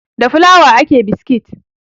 Da fulawa ake biskit